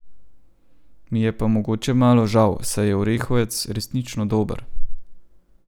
Mi je pa mogoče malo žal, saj je orehovec resnično dober.